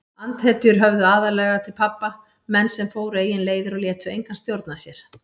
Andhetjur höfðuðu aðallega til pabba, menn sem fóru eigin leiðir og létu engan stjórna sér.